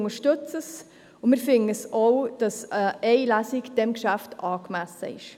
Wir unterstützen es und finden auch, dass eine Lesung bei diesem Geschäft angemessen ist.